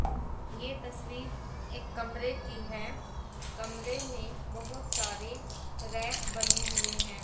ये तस्वीर एक कमरे की है कमरे में बहुत सारे रैक बने हुए हैं।